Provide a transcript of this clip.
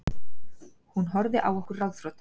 Hún horfði á okkur ráðþrota.